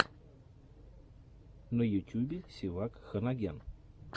на ютюбе севак ханагян